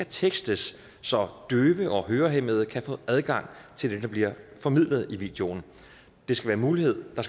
tekstes så døve og hørehæmmede kan få adgang til det der bliver formidlet i videoen der skal være mulighed for